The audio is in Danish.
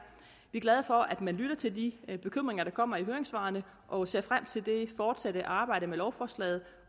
vi er glade for at man lytter til de bekymringer der kommer i høringssvarene og ser frem til det fortsatte arbejde med lovforslaget